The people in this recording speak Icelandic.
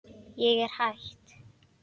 Ég er hætt.